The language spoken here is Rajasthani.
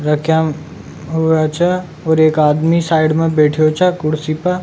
रकया हुआ छ और एक आदमी साइड में बैठा छ कुर्सी प।